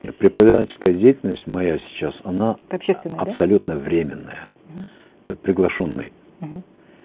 і преподавательская деятельность моя сейчас она это общественная да абсолютно временная мхм это приглашенный мхм